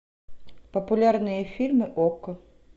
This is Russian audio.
популярные фильмы окко